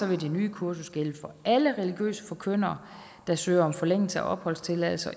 det nye kursus gælde for alle religiøse forkyndere der søger om forlængelse af opholdstilladelse og